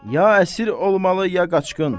Ya əsir olmalı ya qaçqın.